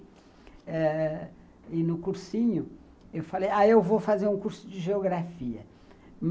ãh, e no cursinho, eu falei, ah, eu vou fazer um curso de Geografia.